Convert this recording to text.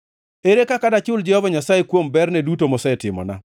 Ere kaka dachul Jehova Nyasaye kuom berne duto mosetimona?